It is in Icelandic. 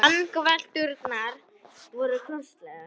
Vangavelturnar voru kostulegar.